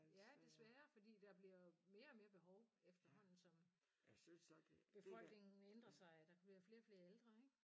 Ja det sværere fordi der bliver mere og mere behov efterhånden som befolkningen ændrer sig og der bliver flere og flere ældre ik